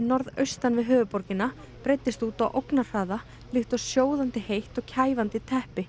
norðaustan við höfuðborgina breiddist út á ógnarhraða líkt og sjóðandi heitt kæfandi teppi